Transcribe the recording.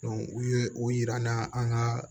u ye o yira n na an ka